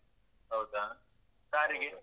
ಹೌದಾ? ಕಾರಿಗೆ?